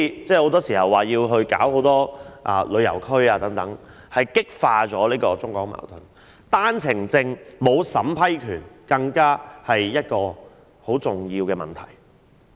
正如設立旅遊區會激化中港矛盾，欠缺對單程證的審批權亦是一個很重要的問題。